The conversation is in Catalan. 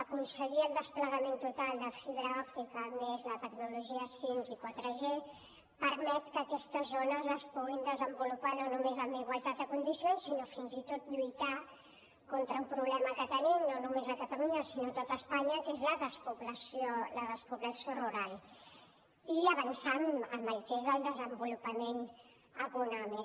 aconseguir el desplegament total de fibra òptica més la tecnologia cinc i 4g permet que aquestes zones es puguin desenvolupar no només en igualtat de condicions sinó fins i tot lluitar contra un problema que tenim no només a catalunya sinó a tot espanya que és la despoblació rural i avançar en el que és el desenvolupament econòmic